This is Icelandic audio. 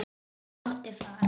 Ég mátti fara.